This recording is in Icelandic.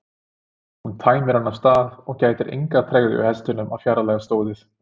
Hún teymir hann af stað og það gætir engrar tregðu hjá hestinum að fjarlægjast stóðið.